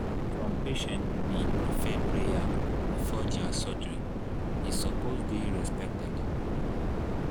some patients bee prefer prayer before dir surgery e suppose dey respected